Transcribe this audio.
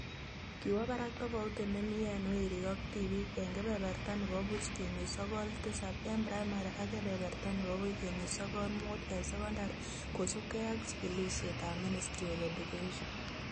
Kiwo barak tofauti nemii eng werik ak tibiik eng kebeberta nebo buch kenuch sokol tisab eng primary ak kebeberta nebo buch kenuch sokol muut eng secondary kosubkei ak jikilisietab Ministry of Education